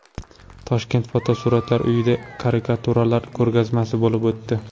Toshkent Fotosuratlar uyida karikaturalar ko‘rgazmasi bo‘lib o‘tdi.